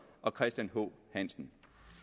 og christian h hansen